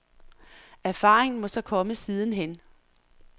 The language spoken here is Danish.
Erfaringen må så komme siden hen.